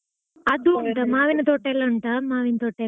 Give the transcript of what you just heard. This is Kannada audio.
ಅದು ಉಂಟಾ? ಮಾವಿನ್ ತೋಟಾ ಎಲ್ಲಾ ಉಂಟಾ? ಮಾವಿನ್ ತೋಟಾ ಎಲ್ಲಾ.